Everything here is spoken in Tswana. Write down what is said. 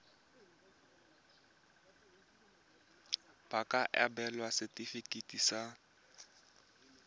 ba ka abelwa setefikeiti sa